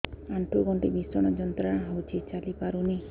ଆଣ୍ଠୁ ଗଣ୍ଠି ଭିଷଣ ଯନ୍ତ୍ରଣା ହଉଛି ଚାଲି ପାରୁନି